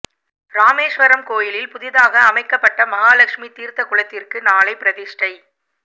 ராமேஸ்வரம் கோயிலில் புதிதாக அமைக்கப்பட்ட மகாலட்சுமி தீர்த்தக்குளத்திற்கு நாளை பிரதிஷ்டை